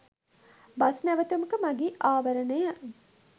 bus නැවතුමක මගී ආවරණය